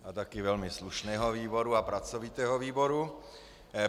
A taky velmi slušného výboru a pracovitého výboru.